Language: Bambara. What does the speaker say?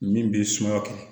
Min b'i suman kɛ